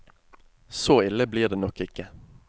Så ille blir det nok ikke.